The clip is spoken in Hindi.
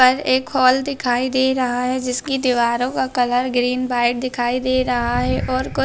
पर एक हॉल दिखाई दे रहा है जिसकी दीवारों का कलर ग्रीन व्हाइट दिखाई दे रहा है और कु--